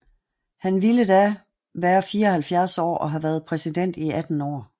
Han ville da være 74 år og have været præsident i 18 år